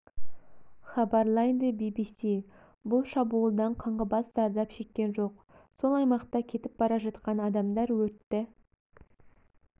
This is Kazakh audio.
хабарлайды би-би-си бұл шабуылдан қаңғыбас зардап шеккен жоқ сол аймақта кетіп бара жатқан адамдар өртті